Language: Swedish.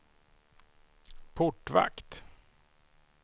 portvakt